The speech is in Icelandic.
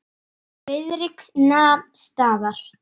Gleymdi Júlíu.